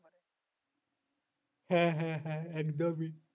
হ্যাঁ হ্যাঁ হ্যাঁ একদমই